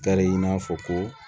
Tari i n'a fɔ ko